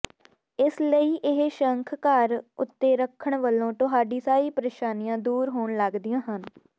ਇਸਲਈ ਇਹ ਸ਼ੰਖ ਘਰ ਉੱਤੇ ਰੱਖਣ ਵਲੋਂ ਤੁਹਾਡੀ ਸਾਰੀ ਪਰੇਸ਼ਾਨੀਆਂ ਦੂਰ ਹੋਣ ਲੱਗਦੀਆਂ ਹਨ